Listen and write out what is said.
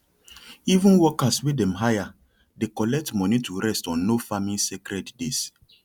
even workers wey dem hire dey collect money to rest on nofarming sacred days